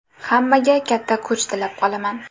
Hammaga katta kuch tilab qolaman.